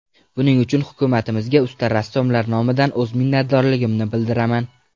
Buning uchun hukumatimizga usta rassomlar nomidan o‘z minnatdorligimni bildiraman.